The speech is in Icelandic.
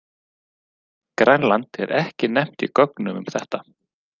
Grænland er ekki nefnt í gögnum um þetta.